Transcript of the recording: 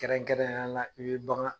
Kɛrɛnkɛrɛnneya la i bi bagan